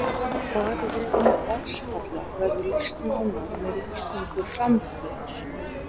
Farvegum vatnsfalla verður lýst nánar með lýsingu framburðar.